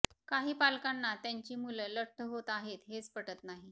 काही पालकांना त्यांची मुलं लठ्ठ होत आहेत हेच पटत नाही